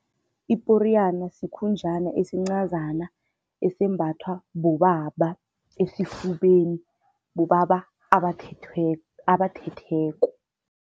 Iporiyana sikhunjana esincazana esembathwa bobaba esifubeni, bobaba abathetheko.